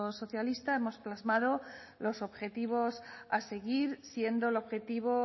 socialista hemos plasmado los objetivos a seguir siendo el objetivo